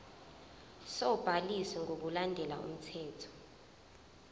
sobhaliso ngokulandela umthetho